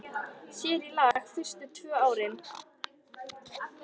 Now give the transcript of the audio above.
Sér í lagi fyrstu tvö árin.